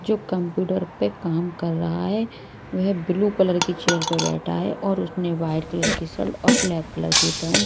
जो कंप्यूटर पे काम कर रहा है वह ब्लू कलर की चेयर पे बैठा है और उसने व्हाइट कलर की शर्ट और ब्लैक कलर की पेंट --